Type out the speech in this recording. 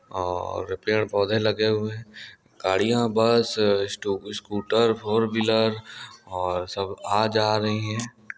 और पेड़ पौधे लगे हुए है गाड़ियां बस स्टो स्कूटर फोर व्हीलर और सब आ जा रही है।